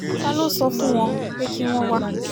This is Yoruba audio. ta ló sọ fún wọn pé kí wọ́n wá